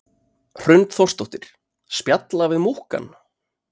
Hrund Þórsdóttir: Spjalla við múkkann?